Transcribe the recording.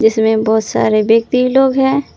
इसमें बहुत सारे व्यक्ति लोग हैं।